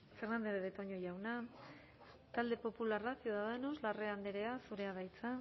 fernandez de betoño jauna talde popularra ciudadanos larrea andrea zurea da hitza